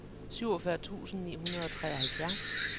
syvogfyrre tusind ni hundrede og treoghalvfjerds